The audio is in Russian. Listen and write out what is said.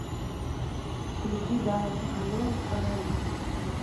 включи дана соколова фонари